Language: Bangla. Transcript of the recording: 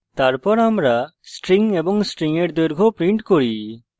তারপর আমরা string এবং string এর দৈর্ঘ্য print করি